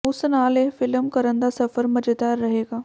ਉਸ ਨਾਲ ਇਹ ਫ਼ਿਲਮ ਕਰਨ ਦਾ ਸਫ਼ਰ ਮਜ਼ੇਦਾਰ ਰਹੇਗਾ